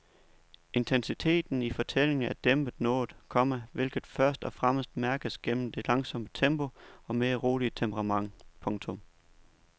Intensiteten i fortællingen er dæmpet noget, komma hvilket først og fremmest mærkes gennem det langsomme tempo og mere rolige temperament. punktum